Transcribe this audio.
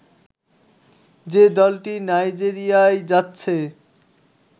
যে দলটি নাইজেরিয়ায় যাচ্ছে